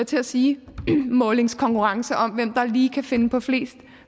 til at sige målingskonkurrence om hvem der lige kan finde på flest